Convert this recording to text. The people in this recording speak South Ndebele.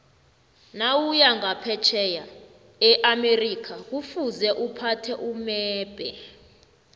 nawuya nqaphetjheya eamerica kufuze uphathe umebhe